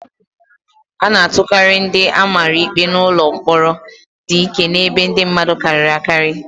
A na-atụkarị ndị a mara ikpe n'ụlọ mkpọrọ dị ike na ebe ndị mmadụ karịrị akarị.